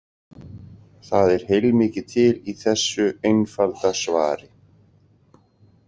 Það er heilmikið til í þessu einfalda svari.